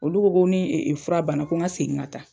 Olu ko ko ni fura banna ko ŋa segin ka taa.